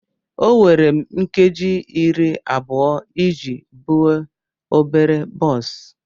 O were m nkeji iri abụọ iji buo obere bọs.